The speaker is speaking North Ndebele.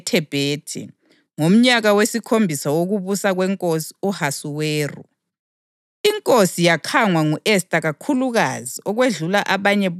U-Esta wasiwa enkosini ngenyanga yetshumi, inyanga yeThebhethi, ngomnyaka wesikhombisa wokubusa kweNkosi u-Ahasuweru.